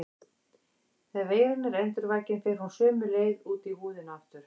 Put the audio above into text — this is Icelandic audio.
Þegar veiran er endurvakin fer hún sömu leið út í húðina aftur.